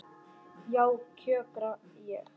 Já, kjökra ég.